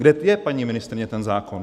Kde je, paní ministryně, ten zákon?